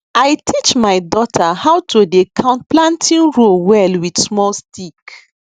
i teach my daughter how to dey count planting row well with small stick